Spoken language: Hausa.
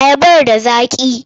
Ayabar da zaƙi?